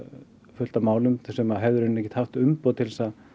fullt af málum sem hefðu í raun ekki haft umboð til að